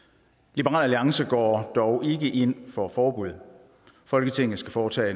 liberal alliance går dog ikke ind for forbud folketinget skal foretage